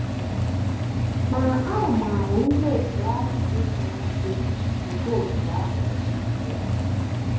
Ma, ahụmahụ ndị dị otú ahụ esighị ike nke otú ahụ n’ezie.